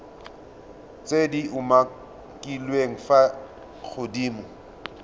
tse di umakiliweng fa godimo